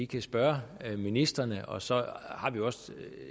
kan spørge ministrene og så har vi også